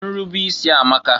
Nrube isi amaka.